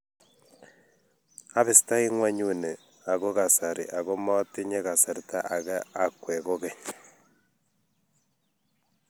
abistei ng'onyuni eng kasari ako motinye kasarta ak akwe kokeny